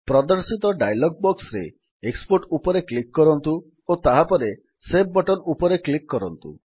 ପ୍ରଦର୍ଶିତ ଡାୟଲଗ୍ ବକ୍ସରେ ଏକ୍ସପୋର୍ଟ ଉପରେ କ୍ଲିକ୍ କରନ୍ତୁ ଓ ତାହାପରେ ସେଭ୍ ବଟନ୍ ଉପରେ କ୍ଲିକ୍ କରନ୍ତୁ